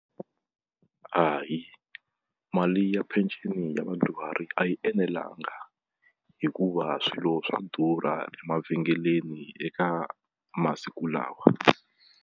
Hayi mali ya pension ya vadyuhari a yi enelanga hikuva swilo swa durha emavhengeleni eka masiku lawa.